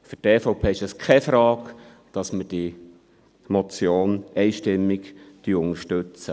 Für die EVP ist es ganz klar, dass wir diese Motion einstimmig unterstützen.